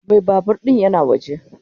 Mai babur din yana waje.